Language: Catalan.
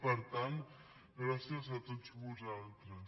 per tant gràcies a tots vosaltres